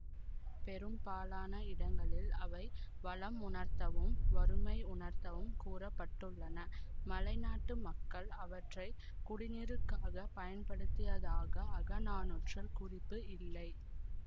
பெரும்பாலான இடங்களில் அவை வளமுணர்த்தவும் வறுமையுணர்த்தவும் கூற பட்டுள்ளன மலைநாட்டு மக்கள் அவற்றை குடிநீருக்காகப் பயன்படுத்தியதாக அகநானூற்றில் குறிப்பு இல்லை